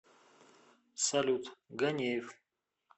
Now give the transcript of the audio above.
салют ганеев